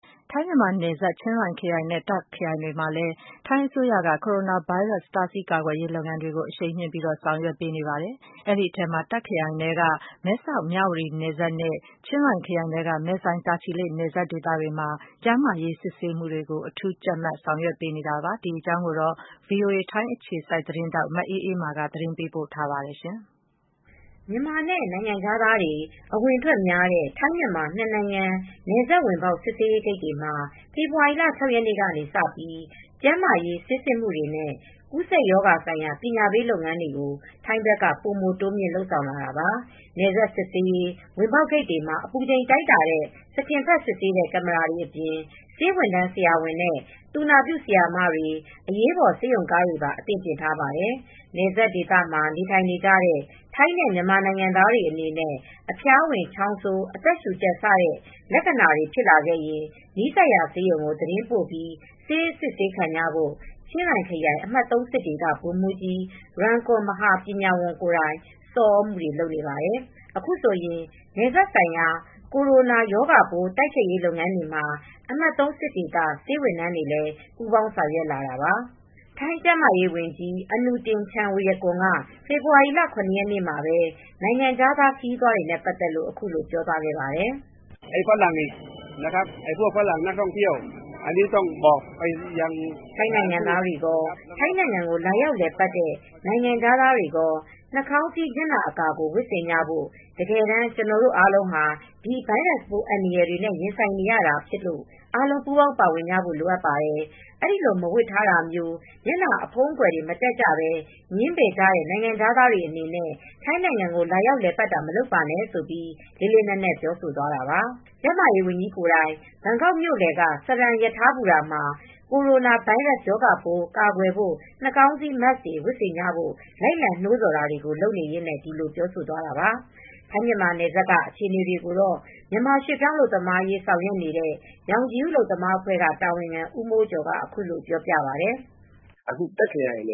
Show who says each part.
Speaker 1: ထိုင်း-မြန်မာနယ်စပ်ချင်းရိုင်ခရိုင်နဲ့ တာ့ခ်ခရိုင်တွေမှာ ထိုင်းအစိုးရက ကိုရိုနာဗိုင်းရပ်စ်ရောဂါပိုး တားဆီးကာကွယ်ရေး လုပ်ငန်းများကို အရှိန်တိုးမြှင့်လုပ်ဆောင်နေပါတယ်။ ဒီအထဲမှာ တာ့ခရိုင် ထဲက မဲဆောက်-မြဝတီနယ်စပ်နဲ့ ချင်းရိုင်ခရိုင်ထဲက မဲဆိုင်တာချီလိပ် နယ်စပ်တွေမှာ ကျန်းမာရေး စစ်ဆေးမှုတွေကို အထူးကြပ်မတ် လုပ်ဆောင်လာတာပါ။ ဒီအကြောင်း ဗွီအိုအေ ထိုင်းအခြေစိုက်သတင်းထောက် မအေးအေးမာက သတင်းပေးပို့ ထားပါတယ်။ မြန်မာနဲ့နိုင်
Speaker 2: ငံခြားသားတွေ အဝင်အထွက်များတဲ့ ထိုင်း-မြန်မာ နှစ်နိုင်ငံ နယ်စပ်ဝင်ပေါက် စစ်ဆေးရေး ဂိတ်တွေမှာ ဖေေါ်ဝါရီလ ရက်နေ့ကစပြီး ကျန်းမာရေး ဆေးစစ်မှုတွေနဲ့ ကူးဆက် ရောဂါဆိုင်ရာ ပညာပေးလုပ်ငန်းတွေကို ထိုင်းဘက်က ပိုမိုတိုးမြှင့်လုပ်ဆောင်လာတာပါ ။ နယ်စပ်စစ်ဆေး ဝင်ပေါက်ဂိတ်တွေမှာ အပူချိန်တိုင်းတာတဲ့ စကင်ဖတ်စစ်ဆေးတဲ့ ကင်မရာတွေအပြင် ဆေးဝန်ထမ်းဆရာဝန်နဲ့ သူနာပြုဆရာမတွေ အရေးပေါ် ဆေးရုံကားတွေပါ အသင့်ပြင်ထားပါတယ် ။ နယ်စပ်ဒေသမှာ နေထိုင်နေကြတဲ့ ထိုင်းနဲ့ မြန်မာနိုင်ငံသားတွေအနေနဲ့ အဖျားဝင်-ချောင်းဆိုး အသက်ရူကြပ် စတဲ့ လက္ခဏာတွေ ဖြစ်လာခဲ့ရင် နီးစပ်ရာ ဆေးရုံကို သတင်းပို့ပြီး ဆေးအစစ်ဆေးခံကြဖို့ ချင်းရိုင်ခရိုင် အမှတ်သုံးစစ်ဒေသ ဗိုလ်မှူး ကြီး Rung Khun Mahapanya Wong ကိုယ်တိုင် ဆော်သြမူတွေလုပ်နေပါတယ်။ အခုဆိုရင် နယ်စပ်ဆိုင်ရာ ကိုရိုနာ ရောဂါပိုး တိုက်ဖျက်ရေးလုပ်ငန်းတွေ မှာ အမှတ် စစ်ဒေသ ဆေးဝန်ထမ်းတွေလည်း ပူးပေါင်းဆောင်ရွက်လာတာပါ။ထိုင်းကျန်းမာရေးဝန်ကြီး Anutin Charnverakul က ဖေဖေါ်ဝါရီလ ၇ ရက်နေ့မှာပဲ နိုင်ငံခြားသားခရီးသွားတွေနဲ့ ပတ်သက်လို့ အခုလိုပြောသွားပါတယ်။ “ထိုင်းနိုင်ငံသားတွေကော ထိုင်းနိုင်ငံကို လာရောက်လည်ပတ်တဲ့ နိုင်ငံခြားသားတွေကော နှားခေါင်းစည်း မျက်နှာအကာကိုဝတ်ဆင်ထားဖို့ တကယ်တမ်း ကျနော်တို့အားလုံးဟာ ဒီဗိုင်းရပ်စပ်ပိုး အန္တရယ်တွေနဲ့ ရင်ဆိုင်နေရတာဖြစ်လို့ အားလုံးပူးပေါင်း ပါဝင်ကြဖို့ လိုပါတယ်။အဲဒီလိုမဝတ်ထားတာမျိုးမျက်နှားဖုံးအကာအကွယ်တွေ မတတ်ကြပဲငြင်းပယ်တဲ့နိုင်ငံခြားသားတွေအနေနဲ့ ထိုင်းနိုင်ငံကိုလာရောက်လည်ပါတ်တာမလုပ်ပါနဲ့” ဆိုပြီး လေးလေးနက်နက် ပြောဆိုသွားတာပါ။ ကျန်းမာရေးဝန်ကြီးကိုယ်တိုင် ဘန်ကောက်မြို့လည်က စရမ်ရထားဘူတာ မှာ ကိုရိုနာဗိုင်းရပ်စ် ရောဂါပိုး ကာကွယ်ဖို့ နှားခေါင်းစည်း Mask တွေ ဝတ်ဆင်ကျဖို့ လိုက်လံနိုးဆော်တာတွေကို လုပ်နေရင်းနဲ့ ဒီလိုပြောဆိုသွားတာပါ။ ထိုင်း-မြန်မာနယ်စပ်တွေက အခြေအနေတွေကိုတော့ မြန်မာ ရွှေပြောင်းအလုပ်သမားရေး ဆောင်ရွက်နေတဲ့ ရောင်ခြည်ဦးအလုပ်သမားအဖွဲ့က တာဝန်ခံ ဦးမိုးကျော်က အခုလိုပြောပြပါတယ်။ “အခုတာခ့်ခရိုင်န